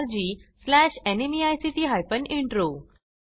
spoken tutorialorgnmeict intro